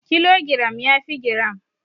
Kilogiram yafi giram.